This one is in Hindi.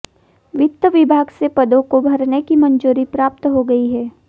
वित्त विभाग से पदों को भरने की मंजूरी प्राप्त हो गई है